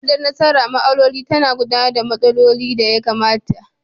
takardan nasara ma'amloli ta na gudanar da ma'amloli a ya da ya kamata.